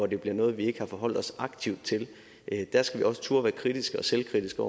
det bliver noget vi ikke har forholdt os aktivt til der skal vi også turde være kritiske og selvkritiske